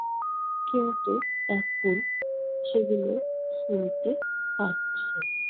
কিন্তু এখন সেগুলো শুনতে পাচ্ছে।